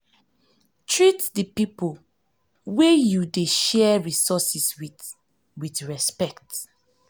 treat di pipo wey you dey share resources with respect